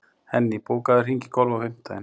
Henný, bókaðu hring í golf á fimmtudaginn.